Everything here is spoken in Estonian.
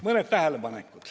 Mõni tähelepanek.